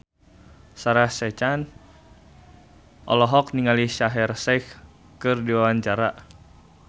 Sarah Sechan olohok ningali Shaheer Sheikh keur diwawancara